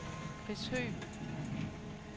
Chris Høgh